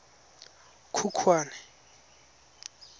khukhwane